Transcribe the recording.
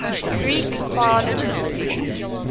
greek biologists